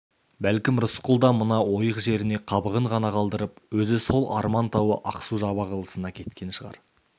бәлкім рысқұл да мына ойық жеріне қабығын ғана қалдырып өзі сол арман тауы ақсу-жабағылысына кеткен шығар